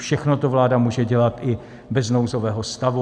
Všechno to vláda může dělat i bez nouzového stavu.